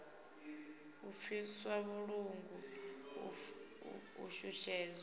u pfiswa vhuṱungu u shushezwa